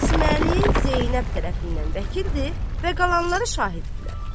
Qasımlı Zeynəb tərəfindən vəkildir və qalanları şahiddirlər.